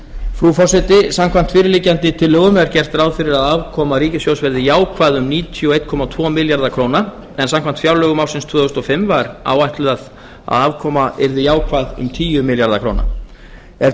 frú forseti samkvæmt fyrirliggjandi tillögum er gert ráð fyrir að afkoma ríkissjóðs verði jákvæð um níutíu og einn komma tvo milljarða króna en samkvæmt fjárlögum ársins tvö þúsund og fimm var áætlað að afkoman yrði jákvæð um tíu komma núll milljarða króna ef